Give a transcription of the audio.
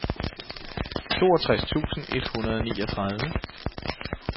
toogtres tusind et hundrede og niogtredive